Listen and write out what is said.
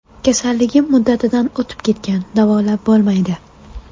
Kasalligim muddatidan o‘tib ketgan davolab bo‘lmaydi.